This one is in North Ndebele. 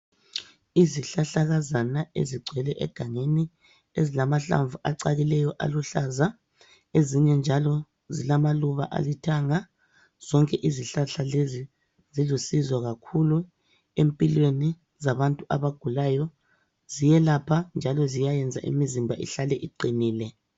Isihlahlakazana ezigcwele egangeni ezilamahlamvu acakileyo aluhlaza, ezinye njalo zilamaluba alithanga. Zonke izihlahla lezi zilusizo kakhulu empilweni zabantu abagulayo. Ziyelapha njalo ziyayenza imizimba ihlale iqinile.